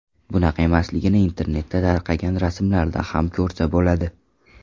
Bunaqa emasligini internetda tarqagan rasmlardan ham ko‘rsa bo‘ladi.